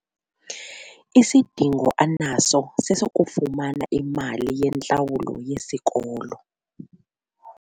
Isidingo anaso sesokufumana imali yentlawulo yesikolo.